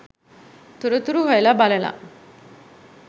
තොරතුරු හොයල බලල